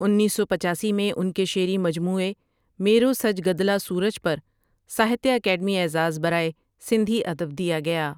انیس سو پچاسی میں ان کے شعری مجموعے میرو سج گدلا سورج پر ساہتیہ اکیڈمی اعزاز برائے سندھی ادب دیا گیا ۔